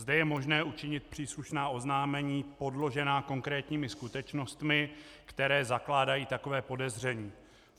Zde je možné učinit příslušná oznámení podložená konkrétními skutečnostmi, které zakládají takové podezření.